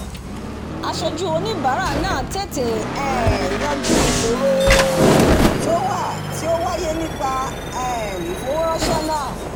asojú oníbàárà náà tètè um yanjú ìsòro tí ó wà tí ó wáyé nípa um ìfowóránsẹ́ náà